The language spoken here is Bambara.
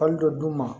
dɔ d'u ma